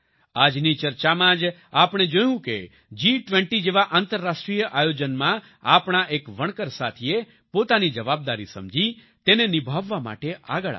આજની ચર્ચામાં જ આપણે જોયું કે જી20 જેવા આંતરરાષ્ટ્રિય આયોજનમાં આપણા એક વણકર સાથીએ પોતાની જવાબદારી સમજી તેને નિભાવવા માટે આગળ આવ્યા